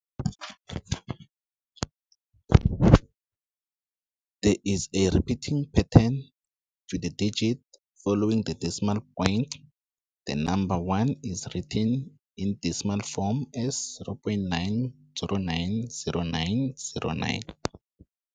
There is a repeating pattern to the digits following the decimal point. The number one is written in decimal form as 0.9090909.